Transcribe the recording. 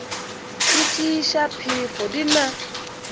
di tšeiša phefo di na